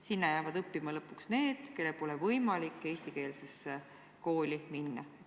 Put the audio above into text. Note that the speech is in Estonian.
Sinna jäävad õppima lõpuks need, kellel pole võimalik eestikeelsesse kooli minna.